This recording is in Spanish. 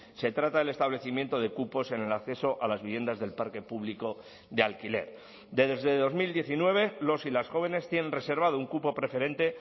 se trata del establecimiento de cupos en el acceso a las viviendas del parque público de alquiler desde dos mil diecinueve los y las jóvenes tienen reservado un cupo preferente